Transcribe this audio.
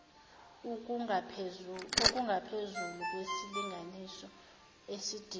okungaphezulu kwesilinganiso esidingwa